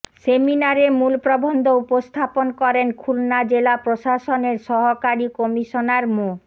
সেমিনারে মূল প্রবন্ধ উপস্থাপন করেন খুলনা জেলা প্রশাসনের সহকারী কমিশনার মো